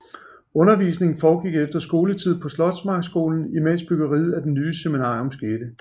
Undervisningen foregik efter skoletid på Slotsmarkskolen imedens byggeriet af det nye seminarium skete